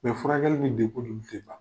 O furakɛli ni ko de be sen na.